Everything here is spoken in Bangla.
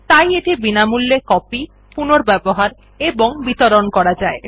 তাই এটি বিনামূল্যে কপি পুনর্ব্যবহার এবং বিতরণ করা যায়